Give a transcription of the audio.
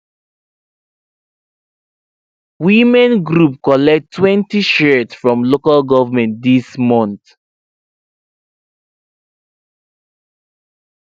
women group collect twenty shears from local govment this month